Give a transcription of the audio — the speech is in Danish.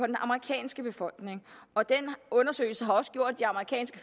den amerikanske befolkning og den undersøgelse har også gjort at de amerikanske